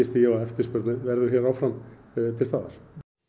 því að eftirspurn verður áfram til staðar